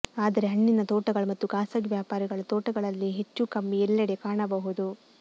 ಆದರೆ ಹಣ್ಣಿನ ತೋಟಗಳು ಮತ್ತು ಖಾಸಗಿ ವ್ಯಾಪಾರಿಗಳು ತೋಟಗಳಲ್ಲಿ ಹೆಚ್ಚೂಕಮ್ಮಿ ಎಲ್ಲೆಡೆ ಕಾಣಬಹುದು